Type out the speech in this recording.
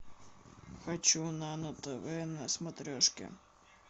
хочу нано тв на смотрешке